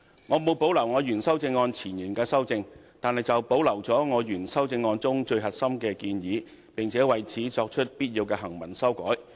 我沒有保留我原修正案前言的修正，但保留了我原修正案中最核心的建議，並且為此作出必要的行文修改。